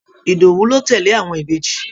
Ìdòwú ló tẹ́lẹ̀ àwọn Ìbejì